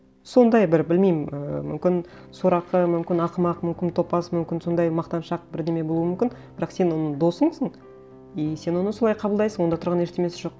сондай бір білмеймін ы мүмкін сорақы мүмкін ақымақ мүмкін топас мүмкін сондай мақтаншақ бірдеңе болуы мүмкін бірақ сен оның досысың и сен оны солай қабылдайсың онда тұрған ештеңесі жоқ